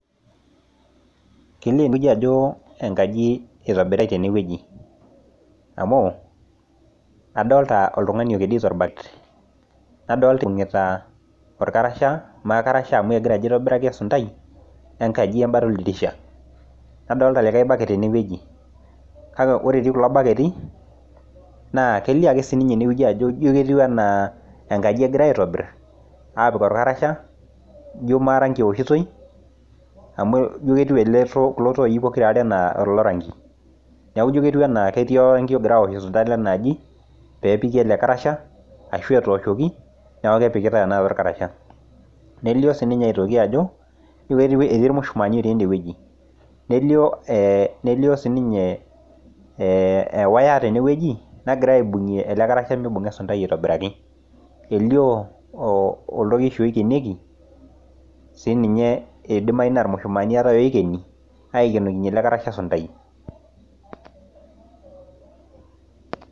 Kelio ajo enkaji itobiritae tenewueji amu adolita oltungani kedito orbaket nadolita ibungita orkarasha makarasha amu egira ajo aitobiraki esundai tenkalo oldirisha nadolita liake baket tenewueji kake ore etii kulo baketi kelio ake ajo emkaji egirai aitobir apik orkarasha ijo maatangibeoshitoi ijo ketiu anaa ketii orangi ogirai aosh sundaa enaaji pepiki elekarasaha ashu etooshoki nelio ele karasha netii irmushumani otii enewueji nelio sinye ee ewaya tenewueji egirai aibungie elekarasha mibunga esundai aitobiraki elio oltoiki oienoki irmushumaani elebkarasha esundai.